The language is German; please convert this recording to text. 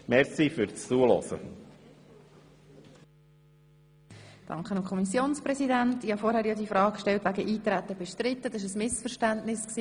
Ich habe vorhin die Frage gestellt, ob das Eintreten bestritten sei.